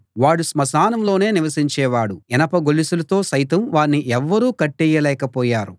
వాడు స్మశానంలోనే నివసించేవాడు ఇనప గొలుసులతో సైతం వాణ్ణి ఎవ్వరూ కట్టెయ్యలేకపోయారు